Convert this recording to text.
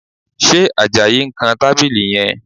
Ṣe Àjàyí ń kan tábìlì yẹn?